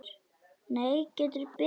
Nei, gettu betur